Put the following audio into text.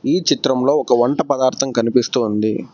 ఈ చిత్రంలో ఒక వంట పదార్థం కనిపిస్తూ ఉంది.